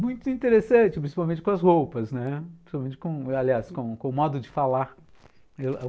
Muito interessante, principalmente com as roupas, né, principalmente, aliás, com com o modo de falar. Eu